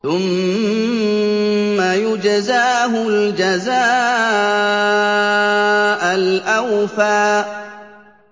ثُمَّ يُجْزَاهُ الْجَزَاءَ الْأَوْفَىٰ